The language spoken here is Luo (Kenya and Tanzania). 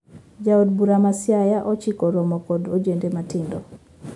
Ja od bura ma siaya ochiko romo kod ojende matindo